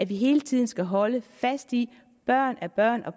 vi hele tiden skal holde fast i at børn er børn og